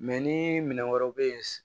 Mɛ ni minɛn wɛrɛw bɛ yen